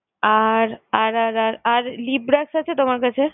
আর আর আর আর আর lip brush আছে তোমার কাছে?